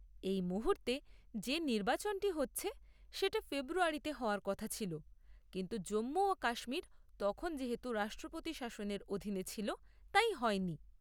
এই মুহূর্তে যে নির্বাচনটি হচ্ছে সেটা ফেব্রুয়ারিতে হওয়ার কথা ছিল, কিন্তু জম্মু ও কাশ্মীর তখন যেহেতু রাষ্ট্রপতি শাসনের অধীনে ছিল, তাই হয়নি।